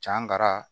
Can karan